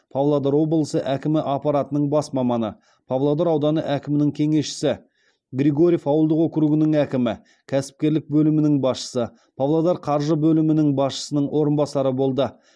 павлодар облысы әкімі аппаратының бас маманы павлодар ауданы әкімінің кеңесшісі григорьев ауылдық округінің әкімі кәсіпкерлік бөлімінің басшысы павлодар қаржы бөлімінің басшысының орынбасары болды